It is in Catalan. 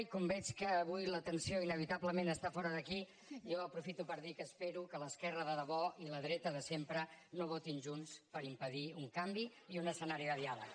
i com que veig que avui l’atenció inevitablement està fora d’aquí jo aprofito per dir que espero que l’esquerra de debò i la dreta de sempre no votin junts per impedir un canvi i un escenari de diàleg